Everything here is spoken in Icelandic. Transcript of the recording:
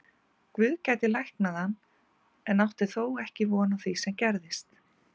Guð gæti læknað en átti þó ekki von á því sem gerðist.